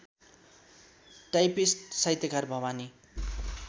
typist साहित्यकार भवानी